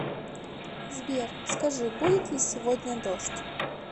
сбер скажи будет ли сегодня дождь